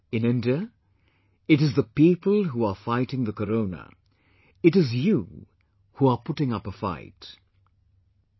In India it is the people who are fighting the Corona; it is you who are putting up a fight ...